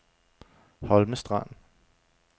Holme Strand